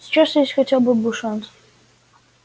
сейчас есть хотя бы шанс